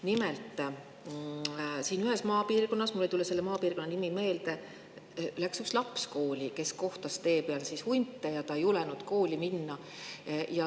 Nimelt, ühes maapiirkonnas – mul ei tule selle maapiirkonna nimi meelde – läks kooli üks laps, kes kohtas tee peal hunte, ja ta ei julenudki kooli minna.